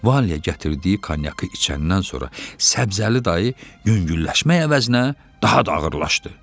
Valiyə gətirdiyi konyakı içəndən sonra Səbzəli dayı yüngülləşmək əvəzinə daha da ağırlaşdı.